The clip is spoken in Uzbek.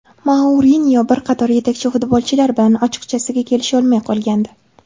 Mourinyo bir qator yetakchi futbolchilar bilan ochiqchasiga kelisholmay qolgandi.